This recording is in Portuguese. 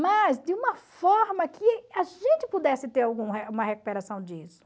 Mas de uma forma que a gente pudesse ter uma recuperação disso.